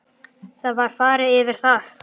Það var farið yfir það